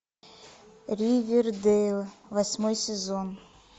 ривердейл восьмой сезон